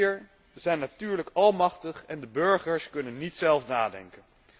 De eurofielen hier zijn natuurlijk almachtig en de burgers kunnen niet zelf nadenken.